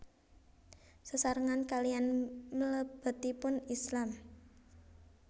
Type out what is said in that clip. Sesarengan kaliyan mlebetipun Islam